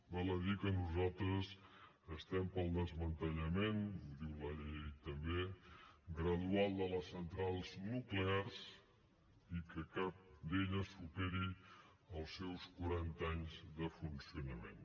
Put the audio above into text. val a dir que nosaltres estem pel desmantellament ho diu la llei també gradual de les centrals nuclears i que cap d’aquestes superi els seus quaranta anys de funcionament